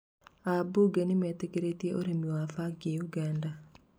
ambunge nĩmetĩkĩria ũrĩmi wa bangi Uganda